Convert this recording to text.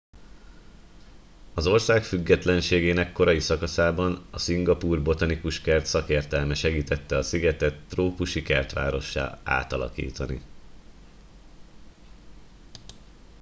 az ország függetlenségének korai szakaszában a szingapúr botanikus kert szakértelme segítette a szigetet trópusi kertvárossá átalakítani